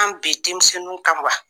An bi denmisɛnw kan wa